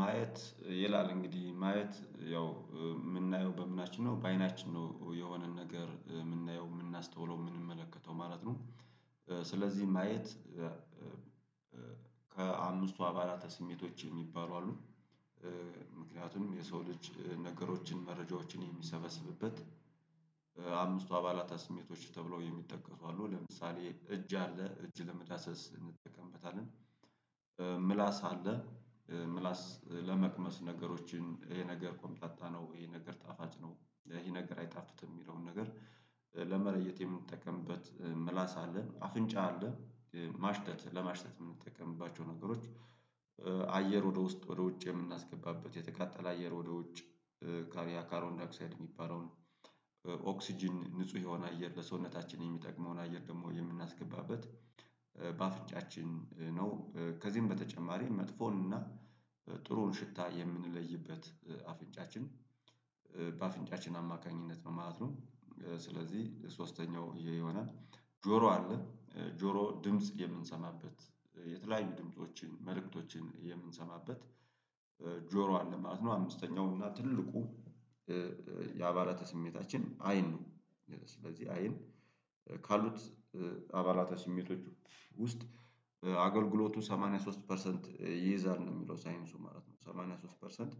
ማየት ይላል እንግዲህ ማየት ያው የምናየው በምናችን ነው በአይናችን ነው የሆነን ነገር የምናየው የምናስተውለው የምንመለከተው ማለት ነው። ስለዚህ ማየት። ከአምስቱ አባላተ ስሜቶች የሚባሉ አሉ። ምክንያቱም የሰው ልጅ ነገሮችን መረጃዎችን የሚሰበስብበት። አምስቱ አባላተ ስሜቶች ተብለው የሚጠቀሱ አሉ ለምሳሌ እጅ አለ እጅ ለመዳሰስ እንጠቀምበታለን። ምላስ አለ። ምላስ ለመቅመስ ነገሮችን ይሄ ነገር ኮምጣጣ ነው ይሄ ነገር ጣፋጭ ነው ይሄ ነገር አይታፍጥትም የሚለውን ነገር። ለመለየት የምንጠቀምበት ምላስ አለ። አፍንጫ አለ። ማሽተት ለማሽተት የምንጠቀምባቸው ነገሮች። አየር ወደ ውስጥ ወደ ውጭ የምናስገባበት የተቃጠለ አየር ወደ ውጭ። ካርቦንዳይኦክሳይድ የሚባለውን። ኦክስጅን ንጹህ የሆነ አየር ለሰውነታችን የሚጠቅመውን አየር ደግሞ የምናስገባበት። በአፍንጫችን ነው። ከዚህም በተጨማሪ መጥፎን እና ጥሩን ሽታ የምንለይበት አፍንጫችን። በአፍንጫችን አማካኝነት ነው ማለት ነው። ስለዚህ ሶስተኛው ይህ ይሆናል። ጆሮ አለ። ጆሮ ድምጽ የምንሰማበት የተለያዩ ድምፆችን መልእክቶችን የምንሰማበት። ጆሮ አለ ማለት ነው። አምስተኛው እና ትልቁ የአባላተ ስሜታችን አይን ነው። ስለዚህ አይን ካሉት አባላት ስሜቶች ውስጥ አገልግሎቱ 83 ፐርሰንት ይይዛል ነው የሚለው ሳይንሱ ማለት ነው 83 ፐርሰንት።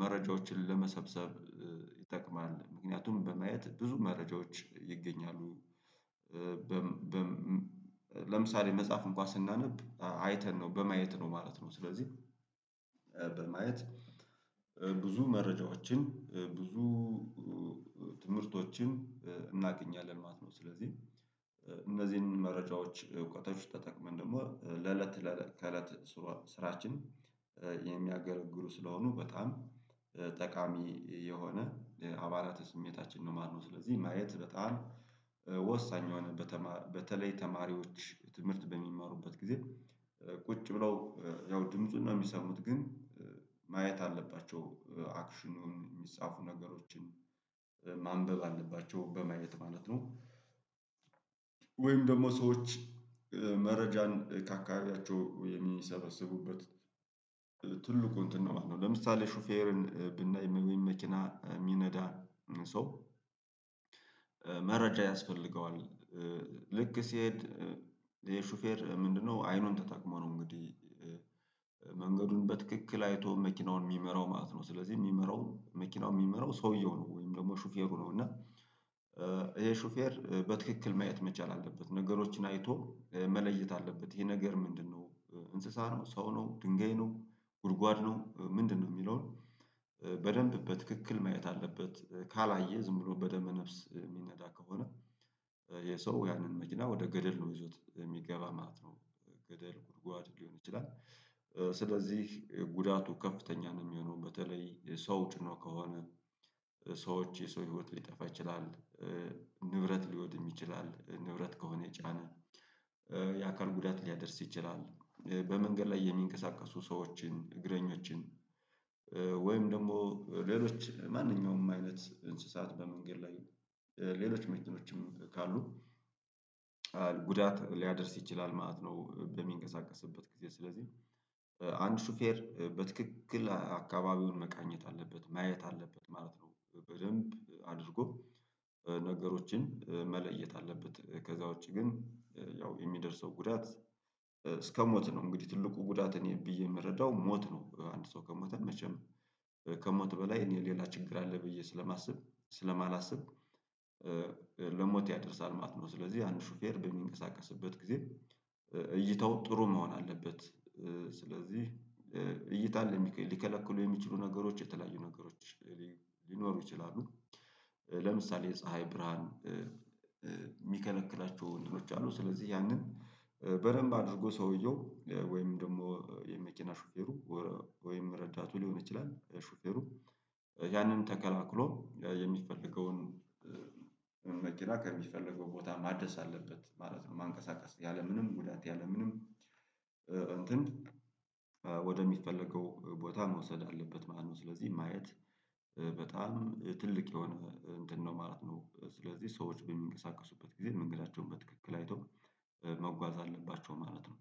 መረጃዎችን ለመሰብሰብ ይጠቅማል ምክንያቱም በማየት ብዙ መረጃዎች ይገኛሉ። ለምሳሌ መጽሐፍ እንኳን ስናነብ አይተን ነው በማየት ነው ማለት ነው። ስለዚህ በማየት ብዙ መረጃዎችን ብዙ ትምህርቶችን እናገኛለን ማለት ነው። ስለዚህ እነዚህን መረጃዎች እውቀቶች ተጠቅመን ደግሞ ለለት ለለት ከለት ስራችን። ስለሆኑ በጣም ጠቃሚ የሆነ የአባላተ ስሜታችን ነው ማለትነው። ስለዚህ ማየት በጣም ወሳኝ የሆነ በተለይ ተማሪዎች ትምህርት በሚማሩበት ጊዜ። ቁጭ ብለው ያው ድምፁን ነው የሚሰሙት ግን ማየት አለባቸው አክሽኑን የሚጻፉ ነገሮችን ማንበብ አለባቸው በማየት ማለት ነው። ወይም ደግሞ ሰዎች መረጃን ካካባቢያቸው የሚሰበሰቡበት እንትን ነው ማለት ነው። ለምሳሌ ሹፌርን ብናይ ወይም መኪና የሚነዳ ሰው። መረጃ ያስፈልገዋል። ልክ ሲሄድ የሹፌር ምንድነው? አይኑን ተጠቅሞ ነው እንግዲህ። መንገዱን በትክክል አይቶ መኪናውን የሚመራው ማለት ነው። ስለዚህ የሚመራው መኪናውን የሚመራው ሰውየው ነው ወይም ደግሞ ሹፌሩ ነው እና። ይሄ ሹፌር በትክክል ማየት መቻል አለበት ነገሮችን አይቶ መለየት አለበት። ይሄ ነገር ምንድነው? እንስሳ ነው ሰው ነው ድንጋይ ነው። ጉድጓድ ነው ምንድነው? የሚለውን በደንብ በትክክል ማየት አለበት። ካላየ ዝም ብሎ በደመ ነፍስ የሚነዳ ከሆነ። ይህ ሰው ያንን መኪና ወደ ገደል ነው ይዞት የሚገባ ማለት ነው። ገደል ጉድጓድ ሊሆን ይችላል። ስለዚህ ጉዳቱ ከፍተኛ ነው የሚሆነው በተለይ ሰው ጭኖ ከሆነ። ሰዎች የሰው ህይወት ሊጠፋ ይችላል። ንብረት ሊወድም ይችላል ንብረት ከሆነ ጫነ የአካል ጉዳት ሊያደርስ ይችላል። በመንገድ ላይ የሚንቀሳቀሱ ሰዎችን እግረኞችን ወይም ደግሞ ሌሎች ማንኛውም አይነት እንስሳት በመንገድ ላይ ሌሎች መኪኖችም ካሉ። ጉዳት ሊያደርስ ይችላል ማለት ነው በሚንቀሳቀስበት ጊዜ ስለዚህ። አንድ ሹፌር በትክክል አካባቢውን መቃኘት አለበት ማየት አለበት ማለት ነው። በደንብ አድርጎ ነገሮችን መለየት አለበት። ከዛ ውጪ ግን ያው የሚደርሰው ጉዳት። እስከ ሞት ነው እንግዲህ ትልቁ ጉዳት እኔ ብዬ የምረዳው ሞት ነው። አንድ ሰው ከሞተ መቼም ከሞት በላይ እኔ ሌላ ችግር አለ ብዬ ስለማስብ ስለማላስብ። ለሞት ያደርሳል ማለት ነው። ስለዚህ አንድ ሹፌር በሚንቀሳቀስበት ጊዜ። እይታው ጥሩ መሆን አለበት። ስለዚህ እይታን ሊከለክሉ የሚችሉ ነገሮች የተለያዩ ነገሮች ሊኖሩ ይችላሉ። ለምሳሌ የፀሀይ ብርሃን። የሚከለክላቸው እንትኖች አሉ ስለዚህ ያንን በደንብ አድርጎ ሰውየው ወይም ደግሞ የመኪና ሹፌሩ። ወይም ረዳቱ ሊሆን ይችላል ሹፌሩ። ያንን ተከላክሎ የሚፈልገውን። መኪና ከሚፈለገው ቦታ ማድረስ አለበት ማለት ነው። ማንቀሳቀስ ያለምንም ጉዳት ያለምንም። እንትን ወደሚፈለገው ቦታ መውሰድ አለበት ማለት ነው። ስለዚህ ማየት። በጣም ትልቅ የሆነ እንትን ነው ማለት ነው። ስለዚህ ሰዎች በሚንቀሳቀሱበት ጊዜ መንገዳቸውን በትክክል አይተው። መጓዝ አለባቸው ማለት ነው።